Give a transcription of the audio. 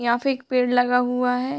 यहाँ पे एक पेड़ लगा हुआ है।